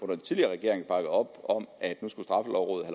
den tidligere regering bakket op om at straffelovrådet